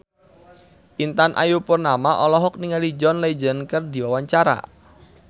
Intan Ayu Purnama olohok ningali John Legend keur diwawancara